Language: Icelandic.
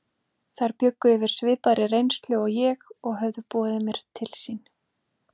Þær bjuggu yfir svipaðri reynslu og ég og höfðu boðið mér til sín.